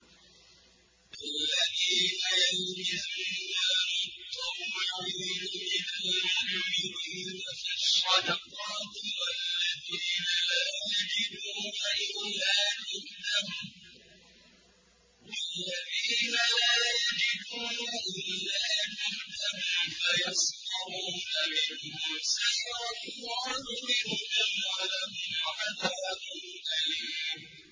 الَّذِينَ يَلْمِزُونَ الْمُطَّوِّعِينَ مِنَ الْمُؤْمِنِينَ فِي الصَّدَقَاتِ وَالَّذِينَ لَا يَجِدُونَ إِلَّا جُهْدَهُمْ فَيَسْخَرُونَ مِنْهُمْ ۙ سَخِرَ اللَّهُ مِنْهُمْ وَلَهُمْ عَذَابٌ أَلِيمٌ